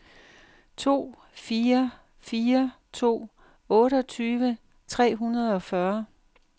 to fire fire to otteogtyve tre hundrede og fyrre